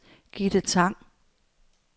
Gitte Tang